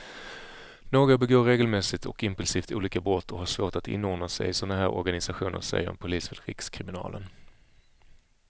Några begår regelmässigt och impulsivt olika brott och har svårt att inordna sig i såna här organisationer, säger en polis vid rikskriminalen.